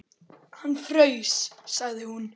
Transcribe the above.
Hann fraus, sagði hún.